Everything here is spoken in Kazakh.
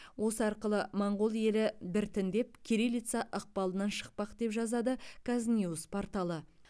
осы арқылы моңғол елі біртіндеп кириллица ықпалынан шықпақ деп жазады казньюс порталы